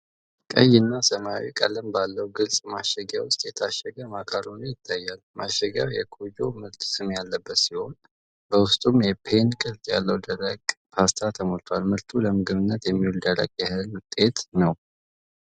ቀይና ሰማያዊ ቀለም ባለው ግልጽ ማሸጊያ ውስጥ የታሸገ ማካሮኒ ይታያል። ማሸጊያው የኮጅ (KOJJ) ምርት ስም ያለበት ሲሆን በውስጡም የፔን (Penne) ቅርጽ ያለው ደረቅ ፓስታ ተሞልቷል። ምርቱ ለምግብነት የሚውል ደረቅ የእህል ውጤት ነው።